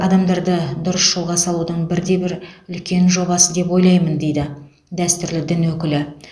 адамдарды дұрыс жолға салудың бір де бір үлкен жобасы деп ойлаймын дейді дәстүрлі дін өкілі